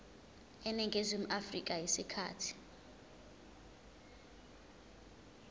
eningizimu afrika isikhathi